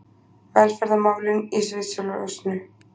Velferðarmálin í sviðsljósinu